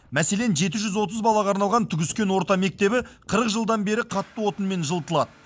мәселен жеті жүз отыз балаға арналған түгіскен орта мектебі қырық жылдан бері қатты отынмен жылытылады